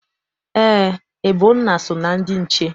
Eé, Ebona so na ndị nche.